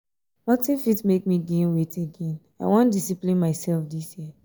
nothing fit make me gain weight again i wan discipline myself dis year